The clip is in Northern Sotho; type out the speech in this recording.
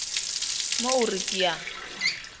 mo o re ke a